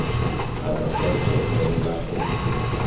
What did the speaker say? ha ba sa tsotella ho